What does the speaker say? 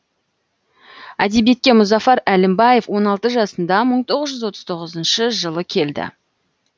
әдебиетке мұзафар әлімбаев он алты жасында мың тоғыз жүз отыз тоғызыншы жылы келді